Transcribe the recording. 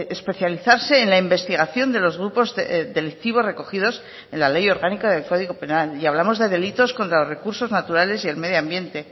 especializarse en la investigación de los grupos delictivos recogidos en la ley orgánica del código penal y hablamos de delitos contra los recursos naturales y el medio ambiente